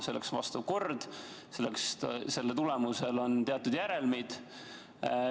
Selleks on vastav kord, selle tulemusel on teatud järelmid.